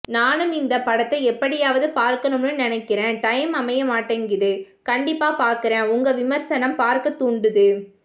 நானும் இந்த படத்த எப்படியாவது பார்க்கணும்னு நெனைக்கிறேன் டைம் அமைய மாட்டேன்குது கண்டிப்பா பாக்குறேன் உங்க விமர்சனம் பார்க்க தூண்டுது